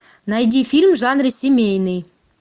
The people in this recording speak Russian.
найди фильм в жанре семейный